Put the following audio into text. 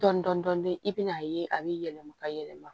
Dɔɔnin dɔɔnin dɔɔnin i bɛ n'a ye a bɛ yɛlɛma ka yɛlɛma